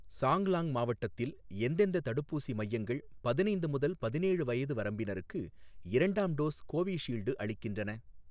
சாங்லாங் மாவட்டத்தில் எந்தெந்த தடுப்பூசி மையங்கள் பதினைந்து முதல் பதினேழு வயது வரம்பினருக்கு இரண்டாம் டோஸ் கோவிஷீல்டு அளிக்கின்றன?